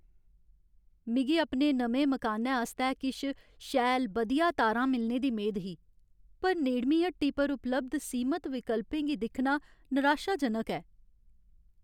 मिगी अपने नमें मकानै आस्तै किश शैल बधिया तारां मिलने दी मेद ही, पर नेड़मीं हट्टी पर उपलब्ध सीमत विकल्पें गी दिक्खना निराशाजनक ऐ।